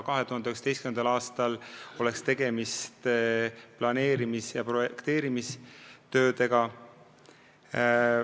2019. aastal oleks tegemist planeerimis- ja projekteerimistöödega.